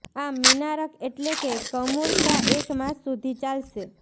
આમ મીનારક એટલે કે કમુરતા એક માસ સુધી ચાલશે